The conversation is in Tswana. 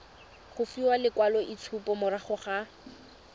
go fiwa lekwaloitshupo morago ga